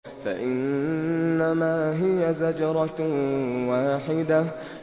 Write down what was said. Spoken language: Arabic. فَإِنَّمَا هِيَ زَجْرَةٌ وَاحِدَةٌ